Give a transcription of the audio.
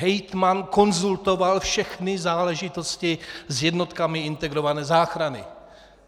Hejtman konzultoval všechny záležitosti s jednotkami integrované záchrany.